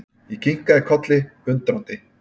Ég kinkaði kolli, undrandi.